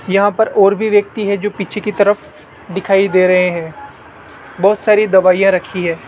यहां पर और भी व्यक्ति है जो पीछे की तरफ दिखाई दे रहे हैं बहोत सारी दवाइयां रखी है।